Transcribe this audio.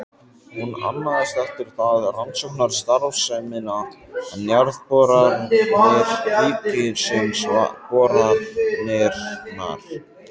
Hún annaðist eftir það rannsóknastarfsemina, en Jarðboranir ríkisins boranirnar.